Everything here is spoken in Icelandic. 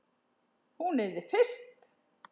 Hún yrði fyrst.